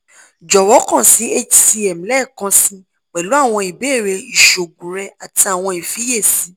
jọwọ kan si hcm lẹẹkansi pẹlu awọn ibeere iṣoogun rẹ ati awọn ifiyesi